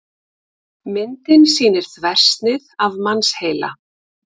myndin sýnir þversnið af mannsheila